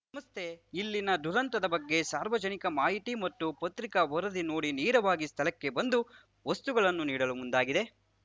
ಸಂಸ್ಥೆ ಇಲ್ಲಿನ ದುರಂತದ ಬಗ್ಗೆ ಸಾರ್ವಜನಿಕ ಮಾಹಿತಿ ಮತ್ತು ಪತ್ರಿಕಾ ವರದಿ ನೋಡಿ ನೇರವಾಗಿ ಸ್ಥಳಕ್ಕೆ ಬಂದು ವಸ್ತುಗಳನ್ನು ನೀಡಲು ಮುಂದಾಗಿದೆ